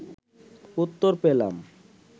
উত্তর পেলাম